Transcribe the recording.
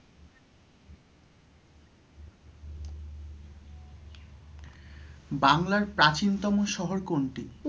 বাংলার প্রাচীনতম শহর কোনটি?